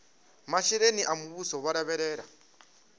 masheleni a muvhuso vho lavhelela